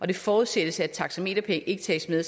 det forudsættes at taxameterpenge ikke tages med